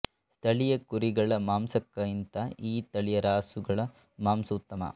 ಸ್ಥಳೀಯ ಕುರಿಗಳ ಮಾಂಸಕ್ಕಿಂತ ಈ ತಳಿಯ ರಾಸುಗಳ ಮಾಂಸ ಉತ್ತಮ